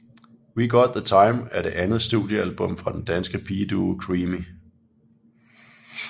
We Got the Time er det andet studiealbum fra den danske pigeduo Creamy